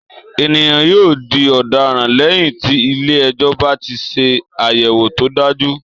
Ènìyàn yóò di ọ̀daràn lẹ́yìn tí ilé-ẹjọ́ bá ti ṣe àyẹ̀wò tó dájú